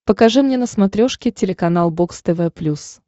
покажи мне на смотрешке телеканал бокс тв плюс